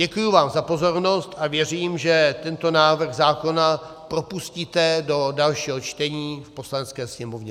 Děkuji vám za pozornost a věřím, že tento návrh zákona propustíte do dalšího čtení v Poslanecké sněmovně.